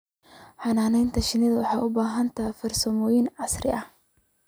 Xannaanada shinnidu waxay u baahan tahay farsamooyin casri ah.